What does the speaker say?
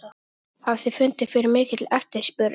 Lára: Hafið þið fundið fyrir mikilli eftirspurn?